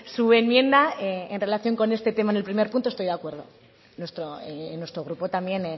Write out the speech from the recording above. su enmienda en relación con este tema en el primer punto estoy de acuerdo nuestro grupo también